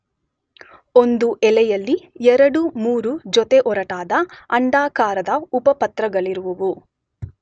ಒಂದು ಎಲೆಯಲ್ಲಿ 2, 3 ಜೊತೆ ಒರಟಾದ ಅಂಡಾಕಾರದ ಉಪಪತ್ರಗಳಿರುವುವು.